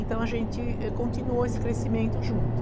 Então, a gente continuou esse crescimento junto.